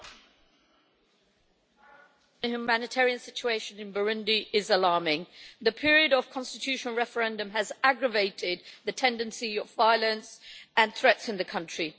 Mr President, the humanitarian situation in Burundi is alarming. The period of the constitutional referendum has aggravated the tendency of violence and threats in the country.